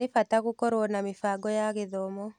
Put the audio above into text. Nĩ bata gũkorwo na mĩbango ya gĩthomo.